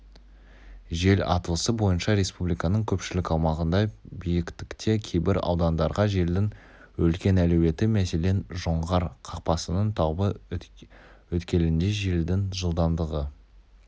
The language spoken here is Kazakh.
жел атласы бойынша республиканың көпшілік аумағында биіктікте кейбір аудандарға желдің үлкен әлеуеті мәселен жоңғар қақпасының таулы өткелінде желдің жылдамдығы